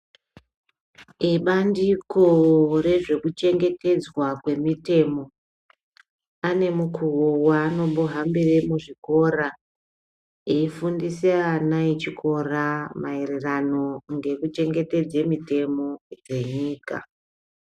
Ebandiko rwezvekuchengetedzwa kwemitemo ane mukuwo waanombohambira muchikora eifundisa ana echikora maererano ngekuchengetedza mitemo dzenyika.